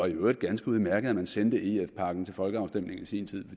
øvrigt ganske udmærket at man sendte ef pakken til folkeafstemning i sin tid